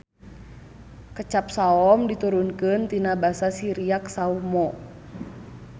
Kecap saom diturunkeun tina Basa Siriak sawmo.